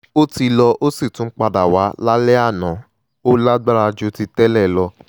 ó ti lọ ó sì tún padà wá lálẹ́ àná ó lágbára ju ti tẹ́lẹ̀ lọ